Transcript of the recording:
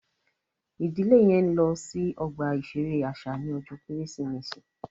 Ìdílé yẹn n lọ sí ọgbà iṣere àṣà ní ọjọ Kérésìmesì